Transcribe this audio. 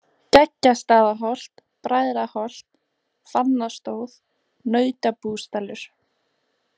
Skeggjastaðaholt, Bræðraholt, Fannastóð, Nautabúsdalur